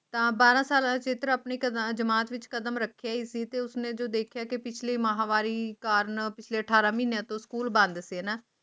ਤਾਂ ਬਰਾਂ ਸਾਲਾ ਚਿੱਤਰ ਆਪਣੀ ਕਥਾ ਜਮਾਤ ਵਿੱਚ ਕਦਮ ਰੱਖਿਆ ਸੀ ਤੇ ਉਸ ਨੇ ਦੇਖਿਆ ਕਿ ਪਿਛਲੀ ਵਾਰੀ ਕਾਰਨਾ ਅਤੇ ਅਠਾਰਾਂ ਮਹੀਨਿਆਂ ਤੋਂ ਸਕੂਲ ਬੰਦ ਸੀ